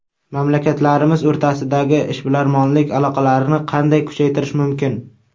Mamlakatlarimiz o‘rtasidagi ishbilarmonlik aloqalarini qanday kuchaytirish mumkin?